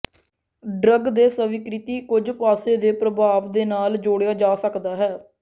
drug ਦੇ ਸਵੀਕ੍ਰਿਤੀ ਕੁਝ ਪਾਸੇ ਦੇ ਪ੍ਰਭਾਵ ਦੇ ਨਾਲ ਜੋੜਿਆ ਜਾ ਸਕਦਾ ਹੈ